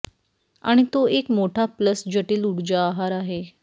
आणि तो एक मोठा प्लस जटिल ऊर्जा आहार आहे